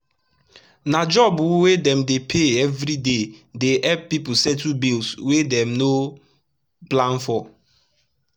na job wey dem dey pay everi day dey epp pipu settle bills wey dem no plan for